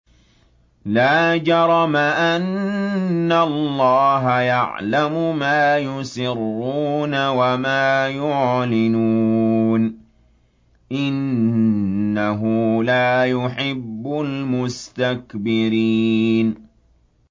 لَا جَرَمَ أَنَّ اللَّهَ يَعْلَمُ مَا يُسِرُّونَ وَمَا يُعْلِنُونَ ۚ إِنَّهُ لَا يُحِبُّ الْمُسْتَكْبِرِينَ